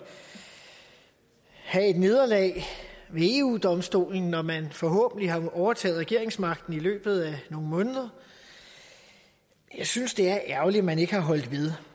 at have et nederlag ved eu domstolen når man forhåbentlig har overtaget regeringsmagten i løbet af nogle måneder jeg synes det er ærgerligt at man ikke har holdt ved